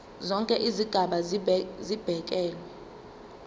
zonke izigaba zibekelwe